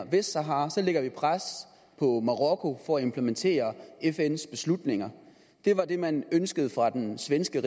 vestsahara lægger man pres på marokko for at implementere fns beslutninger det var det man ønskede fra den svenske